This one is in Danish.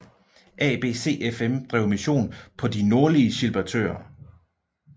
ABCFM drev mission på de nordlige Gilbertøer